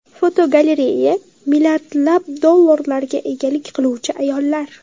Fotogalereya: Milliardlab dollarlarga egalik qiluvchi ayollar.